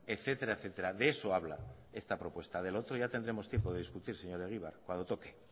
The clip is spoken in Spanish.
etcétera etcétera de eso habla esta propuesta de lo otro ya tendremos tiempo de discutir señor egibar cuando toque